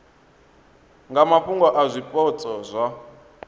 nga mafhungo a zwipotso zwa